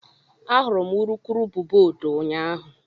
Ahụrụ m urukurubụba odo ụnyahụ